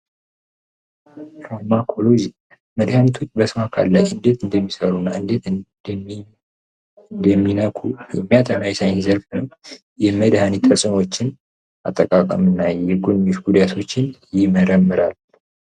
በአኩሪ መድሃኒቱ በሰው አካል ላይ እንዴት እንደሚሠሩና እንዴት እንደሚ የሚነኩ የሚያጠና የሳይንስ ዘርፍ የመድኃኒት ተፅዕኖዎችን አጠቃቀምና ጉዳዮሽ ጉዳቶችንም ይመረምራል።